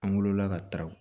An wolola ka taa